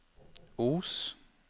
Os